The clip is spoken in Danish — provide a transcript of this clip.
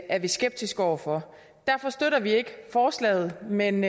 er vi skeptiske over for derfor støtter vi ikke forslaget men